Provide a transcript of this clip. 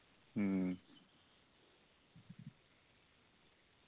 മ്മ്